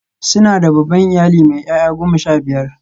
Suna da babban iyali mai 'ya'ya goma sha biyar.